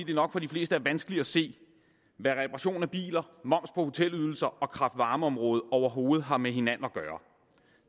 det nok for de fleste er vanskeligt at se hvad reparation af biler moms på hotelydelser og kraft varme området overhovedet har med hinanden at gøre